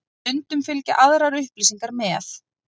Stundum fylgja aðrar upplýsingar með.